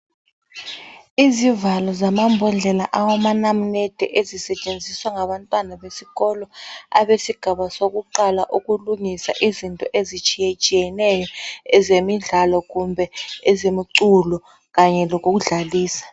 Izivalo zamambodlela awamanamunede ezisetshenziswa ngabantwana besikolo abesigaba sokuqala. ukulungisa izinto ezitshiyetshineyo ezemidlalo kumbe ezemiculo kanye lokudlalisa.